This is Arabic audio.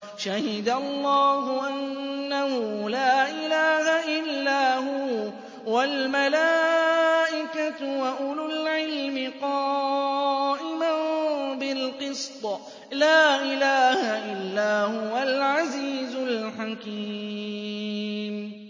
شَهِدَ اللَّهُ أَنَّهُ لَا إِلَٰهَ إِلَّا هُوَ وَالْمَلَائِكَةُ وَأُولُو الْعِلْمِ قَائِمًا بِالْقِسْطِ ۚ لَا إِلَٰهَ إِلَّا هُوَ الْعَزِيزُ الْحَكِيمُ